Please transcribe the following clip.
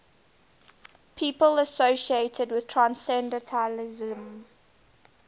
people associated with transcendentalism